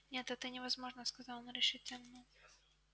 нет это невозможно сказал он решительно